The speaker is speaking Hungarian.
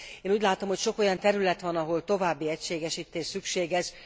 Én úgy látom, hogy sok olyan terület van, ahol további egységesítés szükséges.